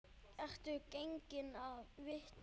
Ertu genginn af vitinu?